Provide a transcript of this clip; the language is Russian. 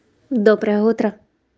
доброе утро